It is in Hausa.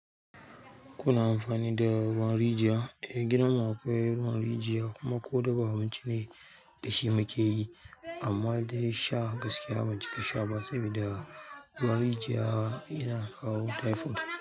Kuna amfani da ruwan rijiya? Eh gidanmu akwai ruwa a rijiya kuma ko dafa abinci ne dashi akeyi amman dai shan gaskiya ban cika sha ba sabida ruwan rijiya tana kawo typhoid.